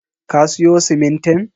Ka siyo simintin?